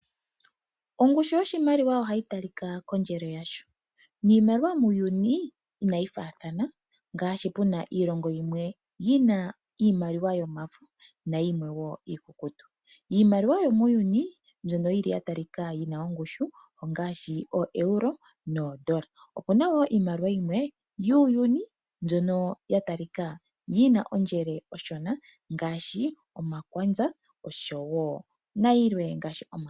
Ongushu yoshimaliwa ohayi talika kondjele yasho ,niimaliwa muuyuni inayi faathana ngaashi puna iilongo yimwe yina iimaliwa yomafo nayimwe iikukutu. Iimaliwa yomuuyuni mbyono yili ya talika yina ongushu ongaashi ooEuro noondola. Opuna woo iimaliwa yimwe yuuyuni mbyono ya talika yina ondjele oshona ngaashi omakwanza nayilwe.